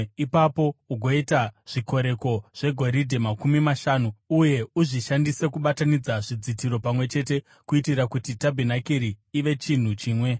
Ipapo ugoita zvikoreko zvegoridhe makumi mashanu uye uzvishandise kubatanidza zvidzitiro pamwe chete kuitira kuti tabhenakeri ive chinhu chimwe.